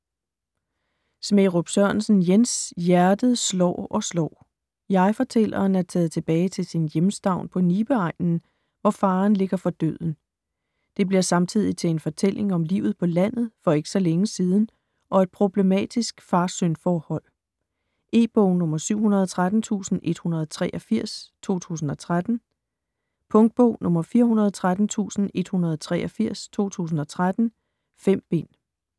Smærup Sørensen, Jens: Hjertet slår og slår Jeg-fortælleren er taget tilbage til sin hjemstavn på Nibe-egnen, hvor faderen ligger for døden. Det bliver samtidig til en fortælling om livet på landet for ikke så længe siden og et problematisk fader-søn forhold. E-bog 713183 2013. Punktbog 413183 2013. 5 bind.